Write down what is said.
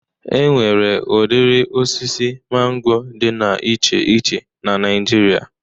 E nwere udiri osisi mango dị na iche iche n'Naijiria